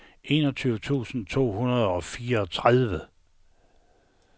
enogtyve tusind to hundrede og fireogtredive